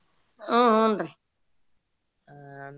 ಹು ಹುನ್ರಿ.